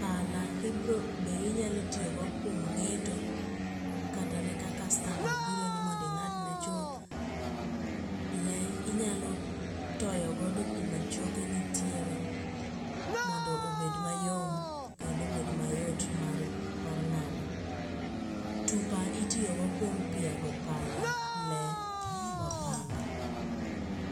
pala be inyalo tiyogo kuom nge'to kata ne ka customer obironi mondo inga'dne chuth le inyalo toyogodo kuma choke nitiere mondo obed mayo kendo obed mayot mar nga'do, tupa itiyogodo kuom piago pako pala, lee, opanga'